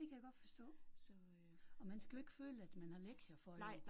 Det kan jeg godt forstå. Og man skal jo ikke føle at man har lektier for jo